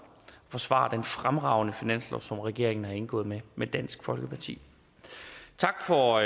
forsvare den fremragende finanslov som regeringen har indgået med med dansk folkeparti tak for